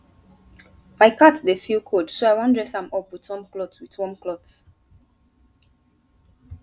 my cat dey feel cold so i wan dress am up with warm cloth with warm cloth